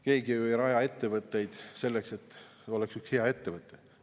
Keegi ei raja ju ettevõtet selleks, et oleks üks hea ettevõte.